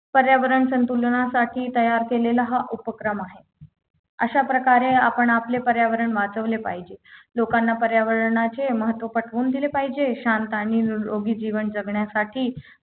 पर्यावरण संतुलनासाठी तयार केलेला हा उपक्रम आहे अशाप्रकारे आपण आपले पर्यावरण वाचवले पाहिजे लोकांना पर्यावरणाचे महत्त्व पटवून दिले पाहिजे शांत आणि निरोगी जीवन जगण्यासाठी